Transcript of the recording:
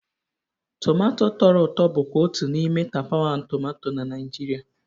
Tumato tọrọ ụtọ bụkwa otu n'ime tapawa tomato na Naịjirịa.